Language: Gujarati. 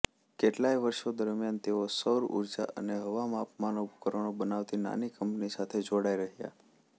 કેટલાય વર્ષો દરમિયાન તેઓ સૌર ઊર્જા અને હવામાપનના ઉપકરણો બનાવતી નાની કંપની સાથે જોડાઇ રહ્યા